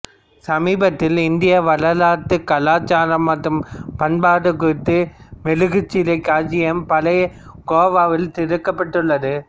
சமீபத்தில் இந்திய வரலாறுகலாச்சாரம் மற்றும் பண்பாடு குறித்த மெழுகுச்சிலை காட்சியம் பழைய கோவாவில் திறக்கப்பட்டுள்ளது